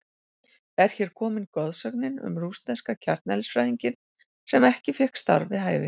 Er hér komin goðsögnin um rússneska kjarneðlisfræðinginn sem ekki fékk starf við hæfi?